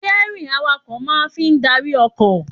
Sítẹ́rìnì awakọ̀ máa fi ń darí ọkọ̀